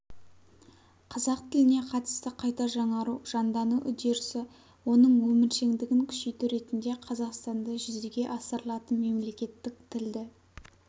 қазақ тіліне қатысты қайта жаңару жандану үдерісі оның өміршеңдігін күшейту ретінде қазақстанда жүзеге асырылатын мемлекеттік тілді